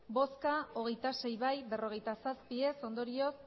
bozka hogeita sei bai berrogeita zazpi ez ondorioz